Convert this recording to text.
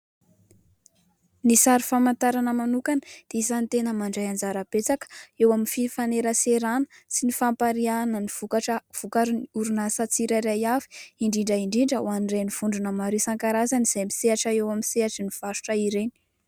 Ny sary famantarana manokana dia isan'ny tena mandray anjara betsaka eo fifaneraserana sy ny fanapariahana ny vokatra vokarin'ny orinasa tsirairay avy, indrindra indrindra hoan'ireny vondrona maro isankarazany izay misehatra eo amin'ny sehatry ny varotra ireny.